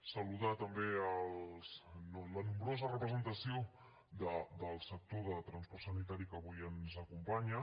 saludar també la nombrosa representació del sector del transport sanitari que avui ens acompanya